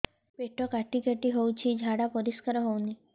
ପେଟ କାଟି କାଟି ହଉଚି ଝାଡା ପରିସ୍କାର ହଉନି